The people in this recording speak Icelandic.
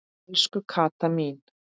Elsku Kata mín.